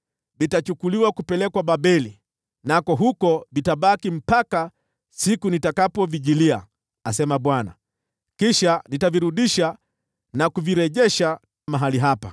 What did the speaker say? ‘Vitachukuliwa kupelekwa Babeli, nako huko vitabaki mpaka siku nitakayovijilia,’ asema Bwana . ‘Kisha nitavirudisha na kuvirejesha mahali hapa.’ ”